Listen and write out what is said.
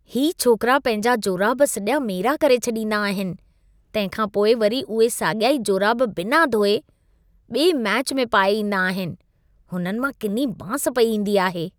ही छोकरा पंहिंजा जोराब सॼा मेरा करे छॾींदा आहिनि, तंहिंखां पोइ वरी उहे साॻिया ई जोराब बिना धोए, ॿिए मैच में पाए ईंदा आहिनि। हुननि मां किनी बांस पई ईंदी आहे।